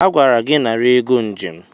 Agwara gị nara ego njem!